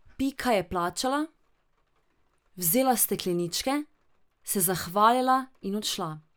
Pika je plačala, vzela stekleničke, se zahvalila in odšla.